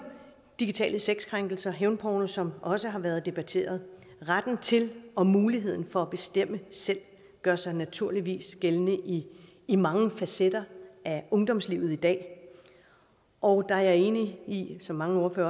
digitale sexkrænkelser hævnporno som også har været debatteret retten til og muligheden for at bestemme selv gør sig naturligvis gældende i i mange facetter af ungdomslivet i dag og jeg er enig i det som mange